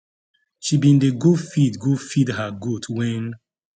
she bin dey go feed go feed her goat wen